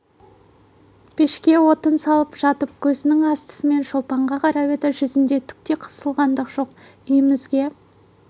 пешке отын салып жатып көзінің астымен шолпанға қарап еді жүзінде түк те қысылғандық жоқ үйімізге